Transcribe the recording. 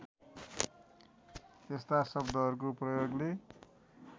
यस्ता शब्दहरूको प्रयोगले